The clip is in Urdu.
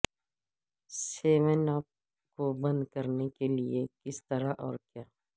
سیون اپ کو بند کرنے کے لئے کس طرح اور کیا